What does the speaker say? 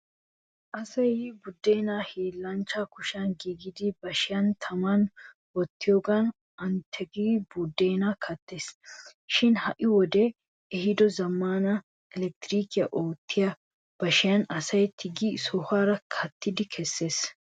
Asay buddeenaa hiilanchchaa kushiyan giigida bashiya taman wottiyoogan ani tigigidi buddeenaa kattees. Shin ha''i wodee ehiido zammaana elkitrikiyan oottiya bashiyan asay tigidi sohuwaara ka'idaa kessees.